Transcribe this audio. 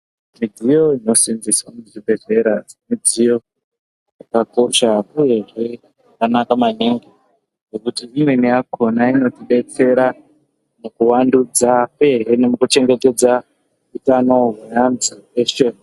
Midziyo inosenzeswa muzvibhedhlera midziyo yakakosha uyezve yakanaka maningi nekuti imweni yakona inotibetsera mukuvandudza uyezve mukuchengetedza utano hwevanthu veshe .